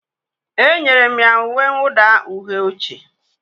Enyere m ya uwe mwụda uhie oche